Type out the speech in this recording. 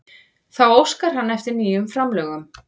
Þá óskar hann eftir nýjum framlögum